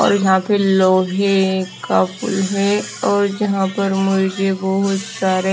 और यहां पे लोहे का पूल है और जहां पर मुझे बहुत सारे--